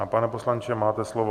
A pane poslanče, máte slovo.